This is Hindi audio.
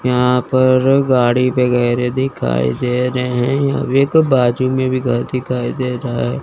यहां पर गाड़ी वगैरे दिखाई दे रहे हैं अभी एक बाजू में भी घर दिखाई दे रहा--